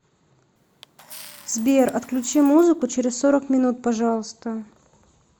сбер отключи музыку через сорок минут пожалуйста